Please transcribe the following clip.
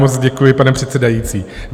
Moc děkuju, pane předsedající.